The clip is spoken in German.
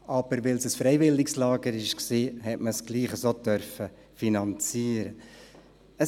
Aber weil es ein freiwilliges Lager war, durfte es trotzdem so finanziert werden.